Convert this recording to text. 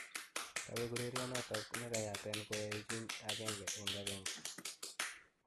kabeg urereionaton negeyaten koaechin 1-1